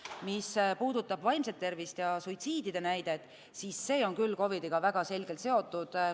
Mis puudutab vaimset tervist ja suitsiidide näidet, siis see on küll COVID-iga väga selgelt seotud.